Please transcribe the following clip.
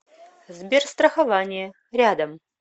сберстрахование рядом